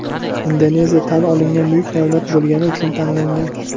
Indoneziya tan olingan buyuk davlat bo‘lgani uchun tanlangan.